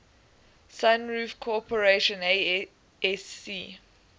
sunroof corporation asc